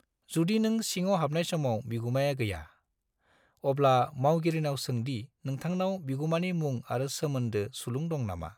जुदि नों सिङाव हाबनाय समाव बिगुमाया गैया, अब्ला मावगिरिनाव सों दि नोंथांनाव बिगुमानि मुं आरो सोमोन्दो सुलुं दं नामा।